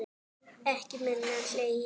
Ekki minna hlegið.